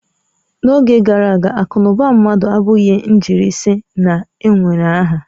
N'oge gara aga, akụ na ụba mmadụ abụghị njirisi na-ewere aha